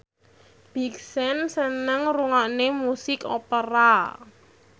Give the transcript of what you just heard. Big Sean seneng ngrungokne musik opera